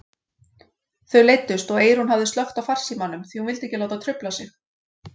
Þau leiddust og Eyrún hafði slökkt á farsímanum því hún vildi ekki láta trufla sig.